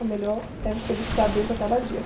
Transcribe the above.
A melhor é você buscar a deus a cada dia.